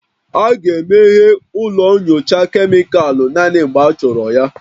A ga-emeghe ụlọ nyocha kemịkalụ naanị mgbe achọrọ ya